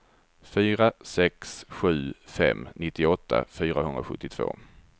fyra sex sju fem nittioåtta fyrahundrasjuttiotvå